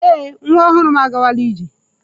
Ee, nwa ọhụrụ m agawala ije.